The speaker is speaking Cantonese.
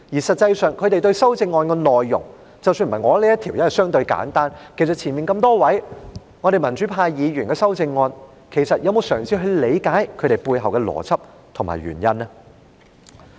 實際上，他們對於修正案的內容，即使不是我提出的這項，因為內容相對簡單，對於早前多位民主派議員提出的修正案，他們又有否嘗試理解其背後的邏輯和原因呢？